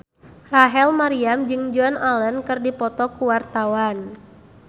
Rachel Maryam jeung Joan Allen keur dipoto ku wartawan